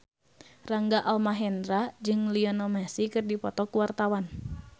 Rangga Almahendra jeung Lionel Messi keur dipoto ku wartawan